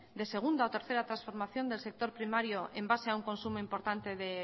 de segunda o tercera transformación del sector primaria en base a un consumo importante de